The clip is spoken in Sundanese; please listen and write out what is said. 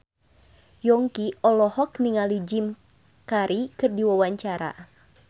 Yongki olohok ningali Jim Carey keur diwawancara